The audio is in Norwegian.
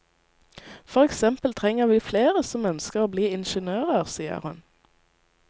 For eksempel trenger vi flere som ønsker å bli ingeniører, sier hun.